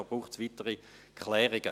es braucht weitere Klärungen.